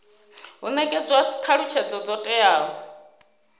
hu netshedzwa thalutshedzo dzo teaho